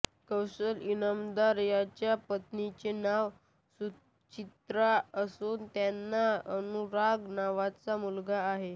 कौशल इनामदार याच्या पत्नीचे नाव सुचित्रा असून त्यांना अनुराग नावाचा मुलगा आहे